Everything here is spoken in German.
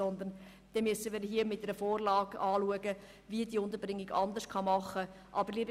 Stattdessen müssen wir hier im Rahmen einer neuen Vorlage betrachten, wie diese Unterbringung anders gemacht werden kann.